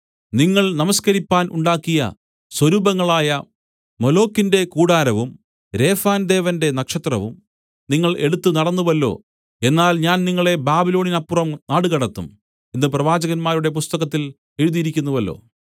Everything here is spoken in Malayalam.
നിങ്ങൾ നമസ്കരിപ്പാൻ ഉണ്ടാക്കിയ സ്വരൂപങ്ങളായ മൊലോക്കിന്റെ കൂടാരവും രേഫാൻദേവന്റെ നക്ഷത്രവും നിങ്ങൾ എടുത്തു നടന്നുവല്ലോ എന്നാൽ ഞാൻ നിങ്ങളെ ബാബിലോണിനപ്പുറം നാടുകടത്തും എന്നു പ്രവാചകന്മാരുടെ പുസ്തകത്തിൽ എഴുതിയിരിക്കുന്നുവല്ലോ